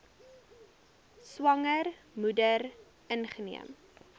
swanger moeder ingeneem